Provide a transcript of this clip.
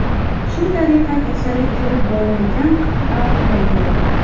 Shu tariqa kasallik kirib bormagan qit’a qolmadi.